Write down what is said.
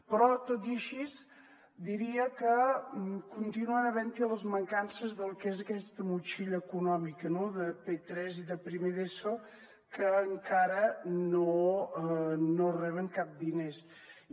però tot i així diria que continuen havent hi les mancances del que és aquesta motxilla econòmica no de p3 i de primer d’eso que encara no reben diners i